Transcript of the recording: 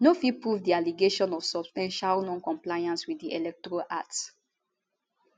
no fit prove di allegation of substantial noncompliance wit di electoral act